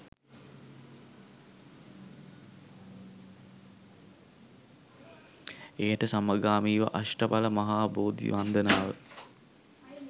එයට සමගාමීව අෂ්ඨඵල මහා බෝධි වන්දනාව